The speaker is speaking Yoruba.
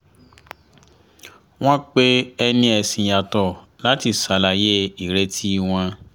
wọ́n pe ẹni ẹ̀sìn yàtọ̀ láti ṣàlàyé ireti wọn